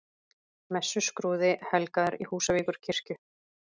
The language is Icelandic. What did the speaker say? Messuskrúði helgaður í Húsavíkurkirkju